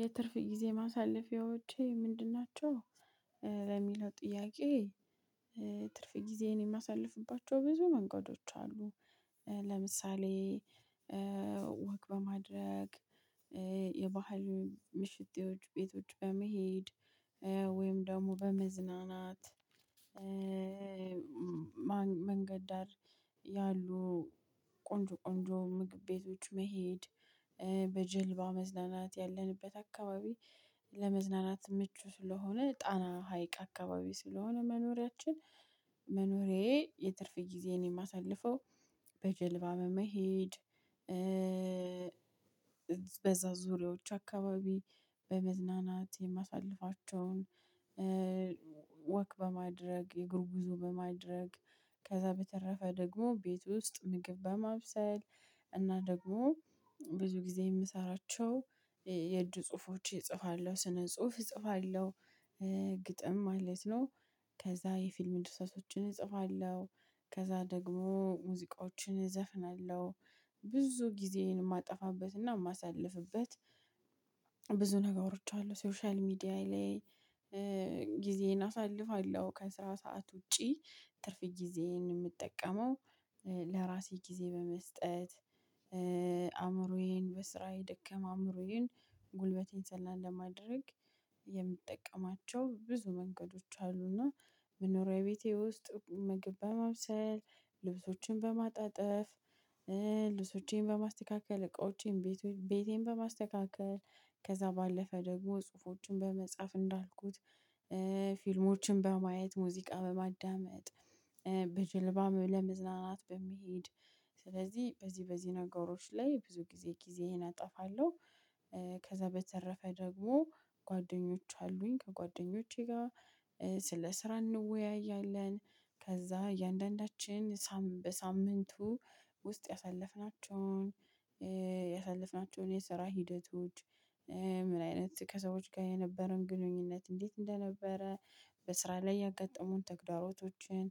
የትርፍ ጊዜ ማሳለፊያዎቼ ምንድን ናቸው? በሚለው ጥያቄ ትርፍ ጊዜ የማሳልፍባቸው ብዙ መንገዶች አሉ። ለምሳሌ ወክ በማድረግ የባህል ምሽቴዎች ቤቶች በመሄድ ወይም ደሞ በመዝናናት። መንገድ ዳር ያሉ ቆንጆ ቆንጆ ምግብ ቤቶች መሄድ። በጀልባ መዝናናት ያለንበት አካባቢ ለመዝናናት ምቹ ስለሆነ ጣና ሀይቅ አካባቢ ስለሆነ መኖሪያችን መኖሪያ የትርፍ ጊዜየን የማሳልፈው በጀልባ በመሄድ። በዛ ዙሪያዎች አካባቢ በመዝናናት የማሳልፍቸውን። ወክ በማድረግ የግር ብዙ በማድረግ ከዛ በተረፈ ደግሞ ቤት ውስጥ ምግብ በማብሰል እና ደግሞ ብዙ ጊዜ የምሰራቸው የእጅ ጽሁፎች እጽፋለሁ ስነ ጽሁፍ እጽፋለሁ። ግጥም ማለት ነው። ከዛ የፊልም ድርሰቶችን እጽፋለሁ። ከዛ ደግሞ ሙዚቃዎችን እዘፍናለሁ። ብዙ ጊዜየን የማጠፋበትና የማሳልፍበት ብዙ ነገሮች አሉ ሶሻል ሚዲያ ላይ ጊዜየን አሳልፋለሁ። ከስራ ሰዓት ውጪ ትርፍ ጊዜየን የምጠቀመው እንደራሴ ጊዜ በመስጠት። አእምሮዬን በስራዬ የደከመ አእምሮዬን ጉልበቴን ዘና ለማድረግ የምጠቀማቸው ብዙ መንገዶች አሉና። መኖሪያ ቤቴ ውስጥ ምግብ በማብሰል ልብሶችን በማጣጠፍ። ልብሶቼን በማስተካከል እቃዎቼን ቤቴን በማስተካከል ከዛ ባለፈ ደግሞ ጽሁፎችን በመጻፍ እንዳልኩት ፊልሞችን በማየት ሙዚቃ በማዳመጥ። በጀልባ ለመዝናናት በመሄድ ስለዚህ በዚህ በዚህ ነገሮች ላይ ብዙ ጊዜ ጊዜየን አጠፋለሁ። ከዛ በተረፈ ደግሞ ጓድኞች አሉኝ ከጓደኞቼ ጋር ስለ ስራ እንወያያለን። ከዛ እያንዳንዳችን ሳምንት በሳምንት ውስጥ ያሳለፍናቸውን የስራ ሂደቶች ምን አይነት ከሰዎች ጋር የነበረውን ግንኙነት እንዴት እንደነበረ? በስራ ላይ ያጋጠሙን ተግዳሮቶችን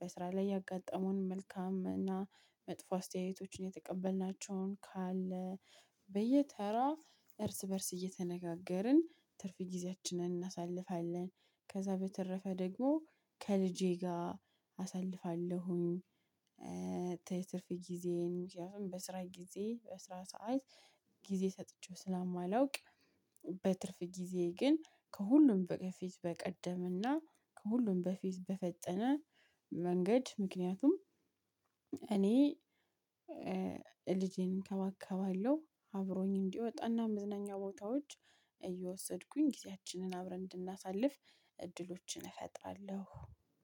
በስራ ላይ ያጋጠሙን መልካም እና መጥፎ አስተያየቶችን የተቀበልናቸውን ካለ በየተራ እርስ በእርስ እየተነጋገርን ትርፍ ጊዜያችንን እናሳልፋለን። ከዛ በተረፈ ደግሞ ከልጄ ጋር አሳልፋለሁኝ። ትርፍ ጊዜዬን ምክንያቱም በስራ ጊዜ በስራ ሰዓት ጊዜ ሰጥቼው ስለ ማላውቅ። በትርፍ ጊዜ ግን ከሁሉም በቀፌ በቀደመና ከሁሉም በፊት በፈጠነ መንገድ ምክንያቱም። እኔ ልጄን እንከባከባለሁ። አብሮኝ እንዲወጣ እና መዝናኛ ቦታዎች እየወሰድኩኝ ጊዜያችንን አብረን እንድናሳልፍ እድሎችን እፈጥራለሁ።